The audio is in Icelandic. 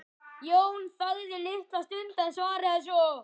Jón þagði litla stund en svaraði svo